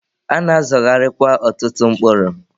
A na-azọgharịkwa ọtụtụ mkpụrụ.